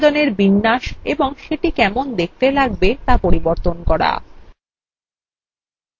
প্রতিবেদনের বিন্যাস এবং সেটি কেমন দেখতে লাগবে তা পরিবর্তন করা